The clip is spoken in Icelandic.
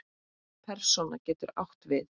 Persóna getur átt við